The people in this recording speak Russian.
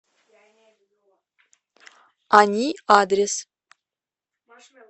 ани адрес